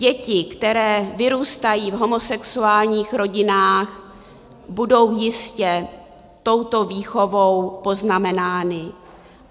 Děti, které vyrůstají v homosexuálních rodinách, budou jistě touto výchovou poznamenány.